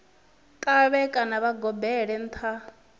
ṱavhe kana vha gobelele nṱha